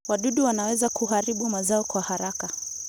Wadudu wanaweza kuharibu mazao kwa haraka.